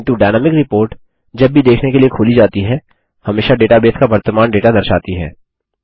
किन्तु dynamic report जब भी देखने के लिए खोली जाती है हमेशा डेटाबेस का वर्तमान डेटा दर्शाती है